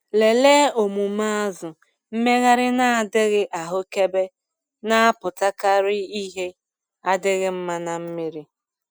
Lelee omume azụ - mmegharị na-adịghị ahụkebe na-apụtakarị ihe adịghị mma na mmiri.